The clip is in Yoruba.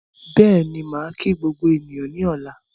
Bẹ́ẹ̀ni, màá kí gbogbo ènìyàn ní ọ̀la